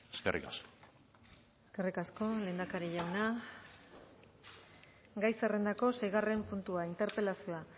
eskerrik asko eskerrik asko lehendakari jauna gai zerrendako seigarren puntua interpelazioa